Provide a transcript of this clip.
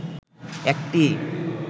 একটি